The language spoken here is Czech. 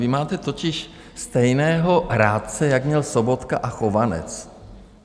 Vy máte totiž stejného rádce, jako měl Sobotka a Chovanec.